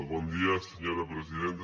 bon dia senyora presidenta